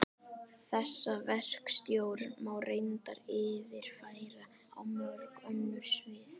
Þessa verkstjórn má reyndar yfirfæra á mörg önnur svið.